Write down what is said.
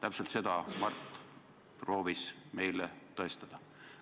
Täpselt seda Mart proovis meile tõestada.